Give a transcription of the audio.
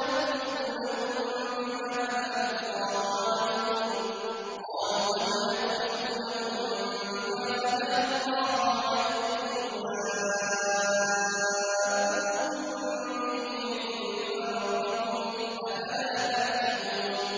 أَتُحَدِّثُونَهُم بِمَا فَتَحَ اللَّهُ عَلَيْكُمْ لِيُحَاجُّوكُم بِهِ عِندَ رَبِّكُمْ ۚ أَفَلَا تَعْقِلُونَ